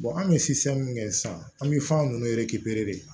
anw bɛ min kɛ sisan an bɛ fɛn ninnu de